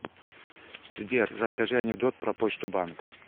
сбер расскажи анекдот про почту банк